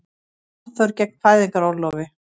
Aðför gegn fæðingarorlofi